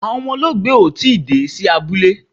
Awọn ọmọ olóògbé ò tii dé sí abúlé